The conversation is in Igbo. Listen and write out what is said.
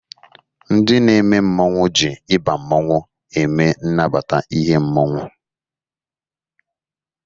Ndị na-eme mmọnwụ jị ịba mmọnwụ eme nnabata n'ihe mmọnwụ.